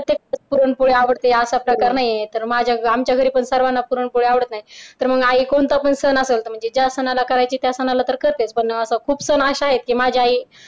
पुरणपोळी आवडते असा प्रकार नाहीये तर माझ्या आमच्या घरी पण सर्वाना पुरणपोळी आवडत नाहीये तर मग आई कोणता पण सण असलं तर मग ज्या सणाला करायची तर त्या सणाला करतेच पण खूप सण असे आहेत कि माझी आई